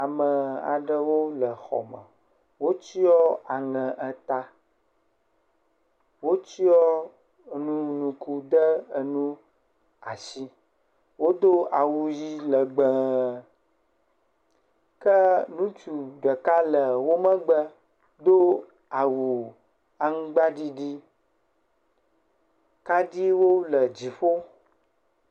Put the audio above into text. Ame aɖewo le xɔ me wotsiɔ aŋe ta, wotsiɔ enu ŋku de nu asi, wodo awu ʋi legbe, ke ŋutsu ɖeka le wo megbe do awu aŋgbaɖiɖi kaɖiwo le dziƒo.